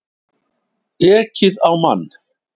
Ekið á mann